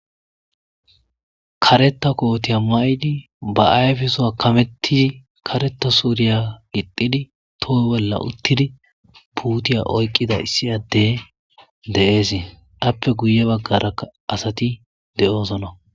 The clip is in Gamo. kareta kootiya ma7idi ba ayfeso a kamettizi kareta suuriya gixxidi toho bolla uttidi puutiya oyqqida issi addey de7eesie appe guye baggaraka asati de7oosona